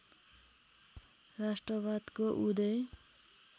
राष्ट्रवादको उदय